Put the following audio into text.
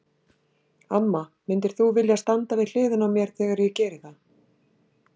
Amma, myndir þú vilja standa við hliðina á mér þegar ég geri það?